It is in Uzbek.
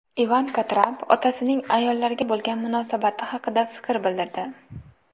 Ivanka Tramp otasining ayollarga bo‘lgan munosabati haqida fikr bildirdi.